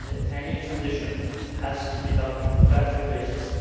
Any transition has to be done on a gradual basis.